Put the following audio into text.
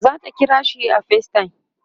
zata kirashi a facetime